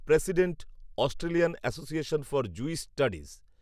president Australian association for Jewish studies